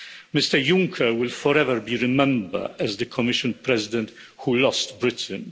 Mr Juncker will forever be remembered as the Commission President who lost Britain.